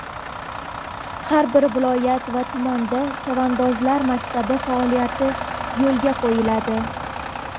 har bir viloyat va tumanda "Chavandozlar maktabi" faoliyati yo‘lga qo‘yiladi.